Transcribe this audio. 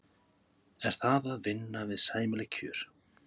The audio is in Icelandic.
Er það að vinna við sæmileg kjör?